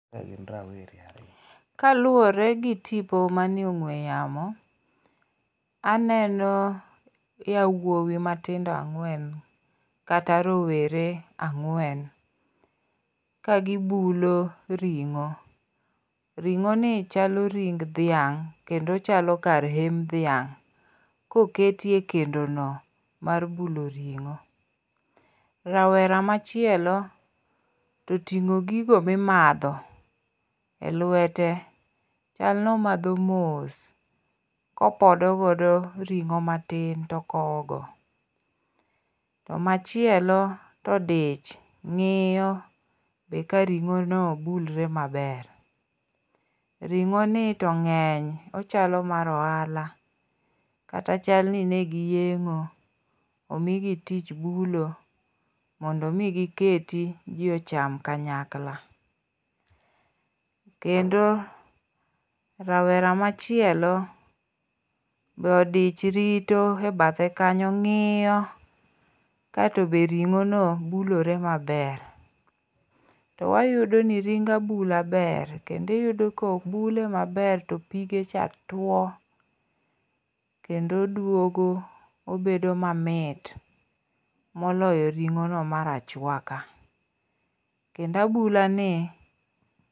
Kaluwore gi tipo manie ong'we yamo aneno yawuowi matindo ang'wen kata rowere ang'wen ka gibulo ring'o. Ring'o ni chalo ring' dhiang kendo ochalo kar em dhiang' koketie kendo no mar bulo ring'o. Rawera machielo toting'o gigo mimadho e lwete. Chal nomadho mos kopodo godo ring'o matin to okow go. To machielo todich ng'iyo be ka ring'o no bulre maber. Ring'o ni to ng'eny ochalo mar ohala kata chal ni negi yeng'o omigi tich bulo mondo mi giketi ji ocham kanyakla. Kendo rawera machielo be odich rito e bathe kanyo ng'iyo katobe ring'o no bulore maber. To wayudo ni ring abula ber kendo iyudo kobule maber to pige cha tuo kendo oduogo obedo mamit moloyo ring'o no mar achwaka. Kendo abula ni.